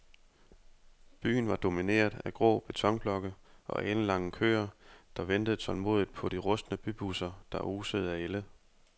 Byen var domineret af grå betonblokke og alenlange køer, der ventede tålmodigt på de rustne bybusser, der osede af ælde.